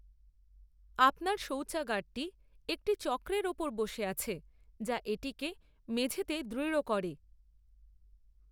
আপনার শৌচাগারটি একটি চক্রের ওপর বসে আছে যা এটিকে মেঝেতে দৃঢ় করে।